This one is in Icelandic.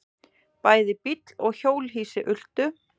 Bæði bíll og hjólhýsi ultu.